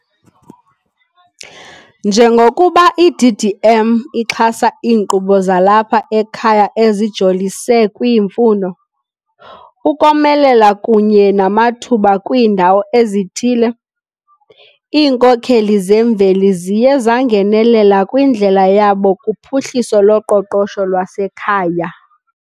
Njengokuba i-DDM ixhasa iinkqubo zalapha ekhaya ezijolise kwiimfuno, ukomelela kunye namathuba kwiindawo ezithile, iinkokheli zemveli ziye zangenelela kwindlela yabo kuphuhliso loqoqosho lwasekhaya.